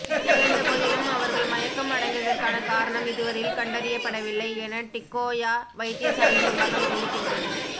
இருந்த போதிலும் அவர்கள் மயக்கம் அடைந்ததற்கான காரணம் இதுவரையில் கண்டறியப்படவில்லை என டிக்கோயா வைத்தியசாலை நிர்வாகம் தெரிவிக்கின்றது